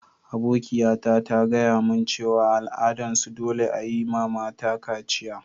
Abokiya ta ta gaya mun cewa a' al'adan su dolle a'yi ma mata kaciya.